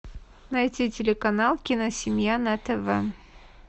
найти телеканал киносемья на тв